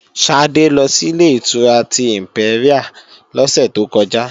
Ṣadé ló si Ilé-ìtura tí ìmpẹ́ríà lọ́sẹ̀ tó kọjá